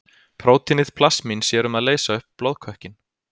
Prótínið plasmín sér um að leysa upp blóðkökkinn.